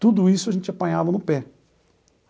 Tudo isso a gente apanhava no pé.